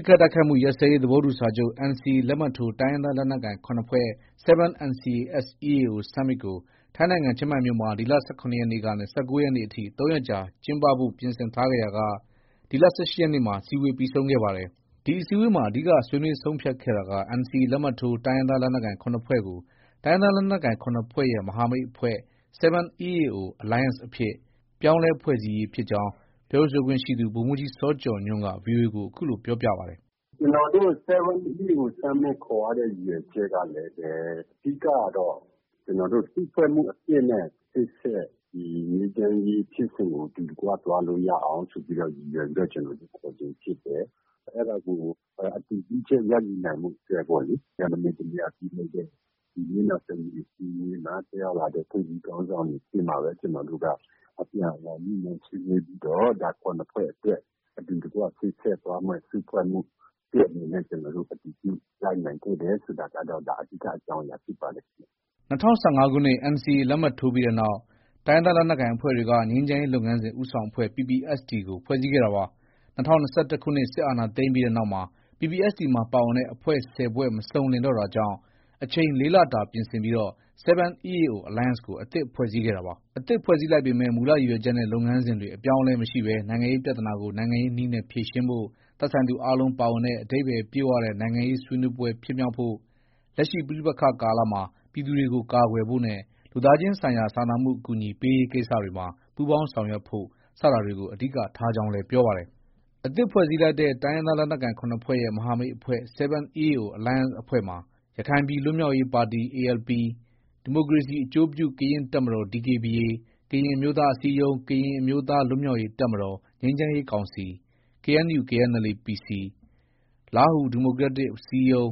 စ်ခတ်တိုက်ခိုက်မှု ရပ်စဲရေးသဘောတူစာချုပ် NCA လက်မှတ်ထိုး တိုင်းရင်းသား လက်နက်ကိုင် ၇ ဖွဲ့ (7 NCA-S- EAO Summit) ကို ထိုင်းနိုင်ငံ ချင်းမိုင်မြို့မှာ ဒီလ ၁၇ ရက်ကနေ ၁၉ ရက်နေ့အထိ ၃ ရက်ကြာ ကျင်းပဖို့ ပြင်ဆင်ထားခဲ့ရာက ဒီလ ၁၈ ရက်နေ့မှာ အစည်းအဝေး ပြီးဆုံးခဲ့ပါတယ်။ ဒီအစည်းအဝေးမှာ အဓိက ဆွေးနွေးဆုံးဖြတ်ခဲ့တာက NCA လက်မှတ်ထိုး တိုင်းရင်းသား လက်နက်ကိုင် ၇ ဖွဲ့ ကို တိုင်းရင်းသားလက်နက်ကိုင် ၇ ဖွဲ့ရဲ့ မဟာမိတ်အဖွဲ့ ( 7 EAO Alliance) အဖြစ် ပြောင်းလဲ ဖွဲ့စည်းရေး ဖြစ်ကြောင်း ပြောရေးဆိုခွင့်ရှိသူ ဗိုလ်မှုးကြီး စောကျော်ညွှန့် က VOA ကို အခုလို ပြောပါတယ်။ “ ကျနော်တို့ 7 EAO Summit ခေါ်ရတဲ့ ရည်ရွယ်ချက်ကလည်းပဲ အဓိကကတော့ ကျနော်တို့ စုဖွဲ့မှုအသစ်နဲ့ ရှေ့ဆက် ငြိမ်းချမ်းရေးဖြစ်စဉ်ကို အတူတကွ သွားလို့ ရအောင် ရည်ရွယ်ပြီးတော့ ခေါ်ခြင်းဖြစ်တယ်။ အဲဒါကို အတည်ပြုချက်ရယူနိုင်ဖို့ အတွက်ပေါ့လေ။ မနေ့တနေ့ ပြုလုပ်တဲ့ မျက်နှာစုံညီအစည်းအဝေးမှာ တက်ရောက်လာတဲ့ ခေါင်းဆောင်တွေ ရှေ့မှာပဲ ကျနော်တို့က အပြန်အလှန်ညှိနှိုင်းဆွေးနွေးပြီးတော့ ဒါ ၇ဖွဲ့အတွက် အတူတကွ ရှေ့ဆက်သွားမယ့် စုဖွဲ့မှု အသစ်အနေနဲ့ ကျနော်တို့ အတည်ပြုလိုက်နိုင်ခဲ့တယ်ဆိုတာကတော့ အဓိက အကြောင်းအရာဖြစ်ပါတယ်ခင်ဗျ။ ” ၂၀၁၅ ခုနှစ် NCA လက်မှတ်ထိုးပြီးနောက်မှာ တိုင်းရင်းသားလက်နက်ကိုင်အဖွဲ့တွေက ငြိမ်းချမ်းရေးလုပ်ငန်းစဉ် ဦးဆောင်အဖွဲ့ PPST ကို ဖွဲ့စည်းခဲ့တာပါ။ ၂၀၂၁ စစ်အာဏာသိမ်းပြီးနောက်မှာ PPST မှာပါဝင်တဲ့ အဖွဲ့ ၁၀ ဖွဲ့ မစုံလင်တော့တာကြောင့် အချိန် ၄လတာ ပြင်ဆင်ပြီး 7 EAO Alliance ကို အသစ်ဖွဲ့စည်းခဲ့တာပါ။ အသစ်ဖွဲ့စည်းလိုက်ပေမဲ့ မူလ ရည်ရွယ်ချက်နဲ့ လုပ်ငန်းစဉ်တွေ အပြောင်းအလဲမရှိဘဲ နိုင်ငံရေးပြဿနာကို နိုင်ငံရေးနည်းနဲ့ ဖြေရှင်းဖို့၊ သက်ဆိုင်သူအားလုံးပါဝင်တဲ့ အဓိပ္ပါယ်ပြည့်ဝတဲ့ နိုင်ငံရေးဆွေးနွေးပွဲဖြစ်မြောက်ဖို့၊ လက်ရှိ ပဋိပက္ခ ကာလမှာ ပြည်သူတွေကို ကာကွယ်ဖို့နဲ့ လူသားချင်းဆိုင်ရာ စာနာမှု အကူအညီပေးရေးကိစ္စတွေမှာ ပူးပေါင်းဆောင်ရွက်ဖို့ စတာတွေကို အဓိက ထားကြောင်းလည်း ပြောပါတယ်။ အသစ်ဖွဲ့စည်းလိုက်တဲ့ တိုင်းရင်းသားလက်နက်ကိုင် ၇ဖွဲ့ရဲ့ မဟာမိတ်အဖွဲ့ ( 7 EAO Alliance) ဖွဲ့မှာ ရခိုင်ပြည်လွတ်မြောက်ရေးပါတီ ALP ၊ ဒီမိုကရေစီအကျိုးပြု ကရင်တပ်မတော် DKBA၊ ကရင်အမျိုးသားအစည်းအရုံး/ ကရင်အမျိုးသား လွတ်မြောက်ရေး တပ်မတော် - ငြိမ်းချမ်းရေးကောင်စီ KNU/ KNLA- PC ၊ လားဟူဒီမိုကရက်တစ်အစည်းအရုံး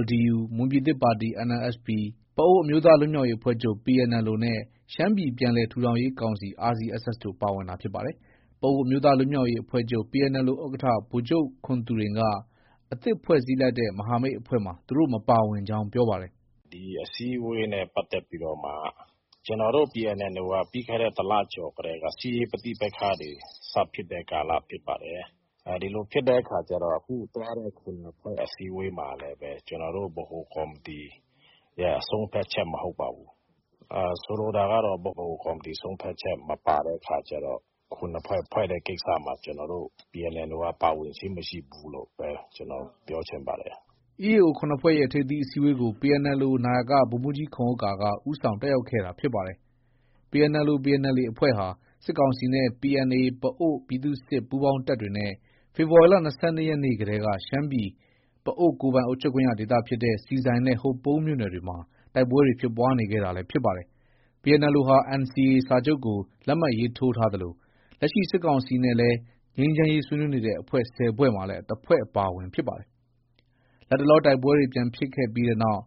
LDU ၊ မွန်ပြည်သစ်ပါတီ NMSP ၊ ပအိုဝ်းအမျိုးသားလွတ်မြောက်ရေးအဖွဲ့ချုပ် PNLO နဲ့ ရှမ်းပြည်ပြန်လည် ထူထောင်ရေးကောင်စီ RCSS တို့ ပါဝင်တာဖြစ်ပါတယ်။ ပအိုဝ်းအမျိုးသားလွတ်မြောက်ရေးအဖွဲ့ချုပ် PNLO ဥက္ကဌ ဗိုလ်ချုပ်ခွန်သူရိန်က က အသစ်ဖွဲ့စည်းလိုက်တဲ့ မဟာမိတ်အဖွဲ့မှာ သူတို့ မပါဝင်ကြောင်း ပြောဆိုပါတယ်။ “ ဒီအစည်းအဝေးနဲ့ ပတ်သက်ပြီးတော့မှ ကျနော်တို့ PNLO က ပြီးခဲ့တဲ့ တလ ကျော်ကတည်းက စစ်ရေးပဋိပက္ခ တွေ စဖြစ်တဲ့ကာလ ဖြစ်ပါတယ်။ ဒီလိုဖြစ်တဲ့အခါကျတော့ အခုသွားတဲ့ ၇ဖွဲ့ အစည်းအဝေးမှာလည်း ကျနော်တို့ ဗဟိုကော်မတီရဲ့ ဆုံးဖြတ်ချက်မဟုတ်ပါဘူး။ ဆိုလိုတာကတော့ ဗဟိုကော်မတီ ဆုံးဖြတ်ချက် မပါတဲ့အခါကျတော့ ၇ဖွဲ့ ဖွဲ့တဲ့ ကိစ္စမှာ ကျနော်တို့ PNLO က ပါဝင်ခြင်းမရှိဘူးလို့ဘဲ ကျနော် ပြောချင်ပါတယ်။ ” EAO ၇ဖွဲ့ရဲ့ ထိပ်သီးအစည်းအဝေးကို PNLO နာယက ဗိုလ်မှုးကြီးခွန်ဥက္ကာက ဦးဆောင်တက်ရောက်ခဲ့တာ ဖြစ်ပါတယ်။ PNLO/ PNLA အဖွဲ့ဟာ စစ်ကောင်စီနဲ့ PNA ပအိုဝ်းပြည်သူ့စစ်ပူးပေါင်းတပ်တွေနဲ့ ဇန်နဝါရီလ ၂၂ရက်နေ့ ကတည်းက ရှမ်းပြည်နယ် ပအိုဝ်းကိုယ်ပိုင်အုပ်ချုပ်ခွင့်ရဒေသဖြစ်တဲ့ ဆီဆိုင်နဲ့ ဟိုပုံးမြို့နယ်တွေမှာ တိုက်ပွဲတွေ ဖြစ်ပွားနေခဲ့တာလည်း ဖြစ်ပါတယ်။ PNLO ဟာ NCA စာချုပ်ကို လက်မှတ်ရေးထိုးထားသလို လက်ရှိ စစ်ကောင်စီနဲ့လည်း ငြိမ်းချမ်းရေး ဆွေးနွေးနေတဲ့ အဖွဲ့ ၁၀ဖွဲ့မှာလည်း တဖွဲ့ အပါအဝင် ဖြစ်ပါတယ်။ လတ်တလောတိုက်ပွဲတွေ ပြန်ဖြစ်ပြီးတဲ့နောက်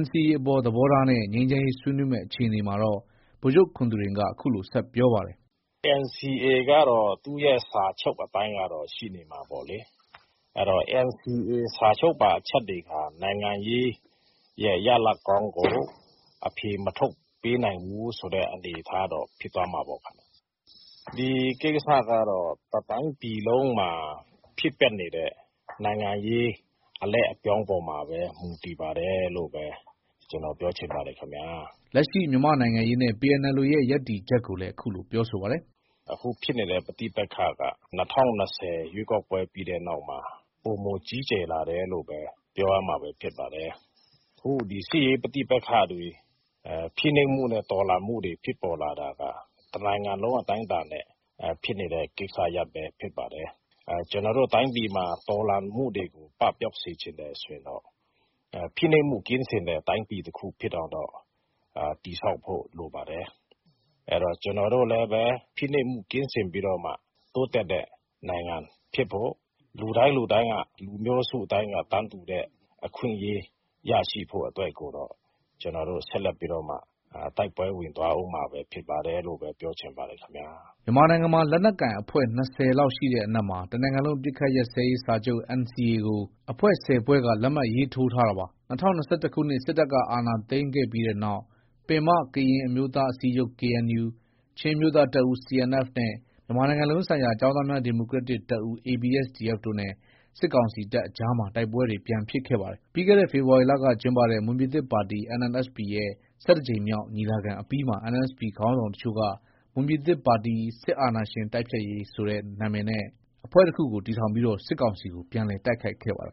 NCA အပေါ်သဘောထားနဲ့ ငြိမ်းချမ်းရေးဆွေးနွေးမယ့် အခြေအနေမှာတော့ ဗိုလ်ချုပ်ခွန်သူရိန်က အခုလို ဆက်ပြောပါတယ်။ “ NCA ကတော့ သူ့ရဲ့ စာချုပ်အတိုင်းတော့ ရှိနေမှာပေါ့လေ။ အဲတော့ NCA စာချုပ်ပါ အချက်တွေဟာ နိုင်ငံရေးရဲ့ ရလဒ်ကောင်းကို အဖြေမထုတ်ပေးနိုင်ဘူးဆိုတဲ့ အနေအထားတော့ ဖြစ်သွားမှာပေါ့။ ဒီကိစ္စကတော့ တတိုင်းပြည်လုံးမှာပဲ ဖြစ်ပွားနေတဲ့ နိုင်ငံရေး အလှည့်အပြောင်းပေါ်မှာပဲ မူတည်ပါတယ်လို့ပဲ ကျနော်ပြောချင် ပါတယ်။” လက်ရှိ မြန်မာနိုင်ငံရေးနဲ့ PNLO ရဲ့ ရပ်တည်ချက်ကိုလည်း အခုလို ပြောဆိုပါတယ်။ “ အခုဖြစ်နေတဲ့ ပဋိပက္ခက ၂၀၂၀ ရွေးကောက်ပွဲ ပြီးတဲ့နောက်မှာ ပိုမိုကြီးကျယ်လာတယ်လို့ပဲ ပြောရမှာပဲဖြစ်ပါတယ်။ အခုဒီ စစ်ရေးပဋိပက္ခတွေ၊ဖိနှိပ်မှုနဲ့ တော်လှန်မှုတွေဖြစ်ပေါ်လာတာက တနိုင်ငံလုံးအတိုင်းအတာနဲ့ ဖြစ်နေတဲ့ ကိစ္စရပ်ပဲဖြစ်ပါတယ်။ ကျနော်တို့ တိုင်းပြည်မှာ တော်လှန်မှုတွေကို ပပျောက်စေချင်တယ်ဆိုရင်တော့ ဖိနှိပ်မှုကင်းစင်တဲ့ တိုင်းပြည်တခုဖြစ်အောင်တော့ တည်ဆောက်ဖို့ လိုပါတယ်။ ကျနော်တို့လည်းပဲ ဖိနှိပ်မှုကင်းစင်ပြီးတော့မှ တိုးတက်တဲ့ နိုင်ငံဖြစ်ဖို့ လူတိုင်းလူတိုင်းက၊ လူမျိုးစုတိုင်းက တန်းတူတဲ့အခွင့်အရေး ရရှိဖို့အတွက်ကိုတော့ ကျနော်တို့ဆက်လက်ပြီးတော့မှ တိုက်ပွဲဝင်သွားအုံးမှာပဲဖြစ်ပါတယ်လို့ပဲ ပြောချင်ပါတယ်ခင်ဗျ။ ” မြန်မာနိုင်ငံမှာ လက်နက်ကိုင်အဖွဲ့ ၂၀လောက်ရှိတဲ့အနက်မှာ တနိုင်ငံလုံးအပစ်ရပ်စာချုပ် NCA ကို အဖွဲ့ ၁၀ဖွဲ့က လက်မှတ်ရေးထိုးထားတာပါ။ ၂၀၂၁ခုနှစ် စစ်တပ်က အာဏာသိမ်းခဲ့တဲ့နောက်မှာတော့ ပင်မ ကရင်အမျိုးသားအစည်းအရုံး KNU၊ ချင်းအမျိုးသားတပ်ဦး CNF နဲ့ မြန်မာနိုင်ငံလုံးဆိုင်ရာ ကျောင်းသားများဒီမိုကရက်တစ်တပ်ဦး ABSDF တို့နဲ့ စစ်ကောင်စီတပ်အကြားမှာ တိုက်ပွဲတွေ ပြန်ဖြစ်ခဲ့ပါတယ်။ ပြီးခဲ့တဲ့ ဖေဖော်ဝါရီလက ကျင်းပတဲ့ မွန်ပြည်သစ်ပါတီ NMSP ရဲ့ ၁၁ကြိမ်မြောက် ညီလာခံအပြီးမှာ NMSP ခေါင်းဆောင်တချို့က မွန်ပြည်သစ်ပါတီ - စစ်အာဏာရှင်တိုက်ဖျက်ရေး (NMSP-AD) ဆိုတဲ့အမည်နဲ့ အဖွဲ့အစည်းတခုကို ထူထောင်ပြီး စစ်ကောင်စီကို ပြန်လည်တိုက်ခိုက်ခဲ့ပါတယ်